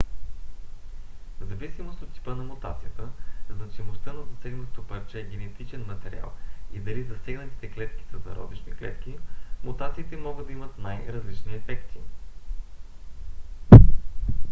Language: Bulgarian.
взависимост от типа на мутацията значимостта на засегнатото парче генетичен материал и дали засегнатите клетки са зародишни клетки мутациите могат да имат най-различни ефекти